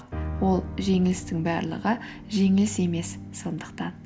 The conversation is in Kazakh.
ол жеңілістің барлығы жеңіліс емес сондықтан